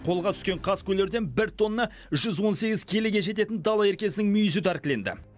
қолға түскен қаскөйлерден бір тонна жүз он сегіз келіге жететін дала еркесінің мүйізі тәркіленді